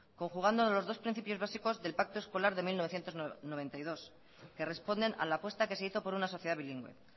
conjugando los dos principios básicos del pacto escolar de mil novecientos noventa y dos que responden a la apuesta que se hizo por una sociedad bilingüe